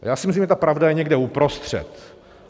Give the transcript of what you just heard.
Já si myslím, že ta pravda je někde uprostřed.